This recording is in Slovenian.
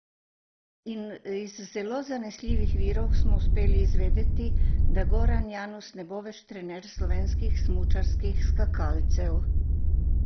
Iz zelo zanesljivih virov smo uspeli izvedeti, da Goran Janus ne bo več trener slovenskih smučarskih skakalcev.